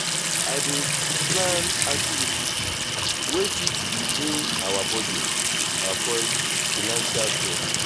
i dey send reminders about the outing to keep everybody informed.